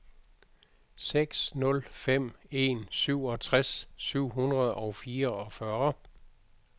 seks nul fem en syvogtres syv hundrede og fireogfyrre